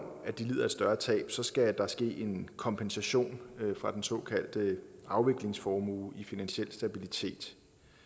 at de lider et større tab skal der ske en kompensation fra den såkaldte afviklingsformue i finansiel stabilitet